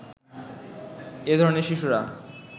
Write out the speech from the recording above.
এ ধরনের শিশুরা